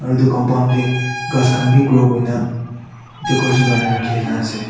aru etu compound teh gass khan bhi grow kene etu kori kena rakhi ase.